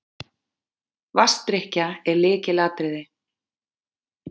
Vatnsdrykkja er lykilatriði.